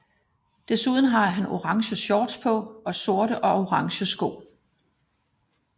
Desuden har han orange shorts på og sorte og orange sko